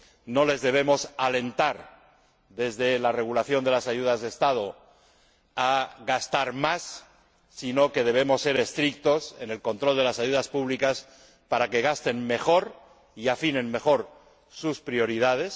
no les debemos alentar desde la regulación de las ayudas de Estado a gastar más, sino que debemos ser estrictos en el control de las ayudas públicas para que gasten mejor y afinen mejor sus prioridades.